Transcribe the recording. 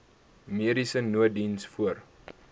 mediese nooddiens voor